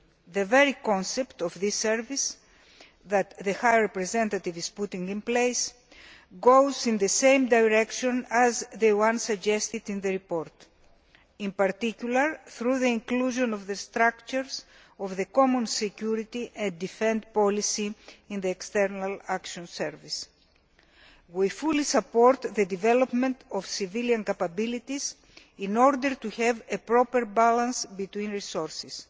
The very concept of the service that the High Representative is putting in place points in the same direction as the one suggested in the report, in particular, through the inclusion of the structures of the Common Security and Defence Policy in the External Action Service. We fully support the development of civilian capabilities in order to have a proper balance between resources.